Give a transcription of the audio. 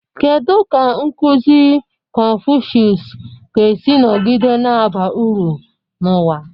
Kedu ka nkuzi Confucius ga-esi nọgide na-aba uru n'ụwa?